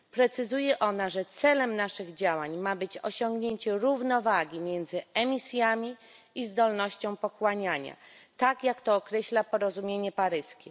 Precyzuje ona, że celem naszych działań ma być osiągnięcie równowagi między emisjami i zdolnością pochłaniania, tak jak to określa porozumienie paryskie.